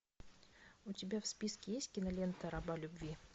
у тебя в списке есть кинолента раба любви